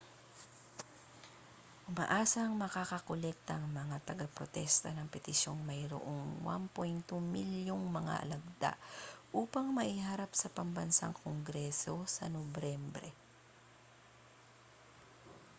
umaasang makakakolekta ang mga tagaprotesta ng petisyong mayroong 1.2 milyong mga lagda upang maiharap sa pambansang kongreso sa nobyembre